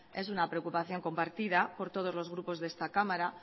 es una preocupación compartida por todos los grupos de esta cámara